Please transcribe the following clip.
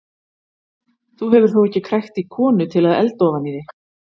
Þú hefur þó ekki krækt í konu til að elda ofan í þig?